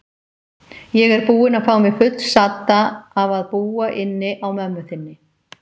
Ég er búin að fá mig fullsadda af að búa inni á mömmu þinni.